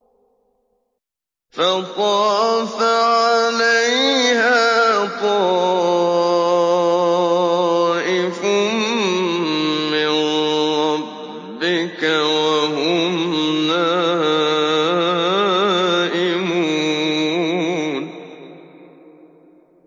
فَطَافَ عَلَيْهَا طَائِفٌ مِّن رَّبِّكَ وَهُمْ نَائِمُونَ